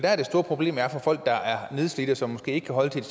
er det store problem for folk der er nedslidte og som måske ikke kan holde til